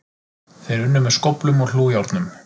Þeir unnu með skóflum og hlújárnum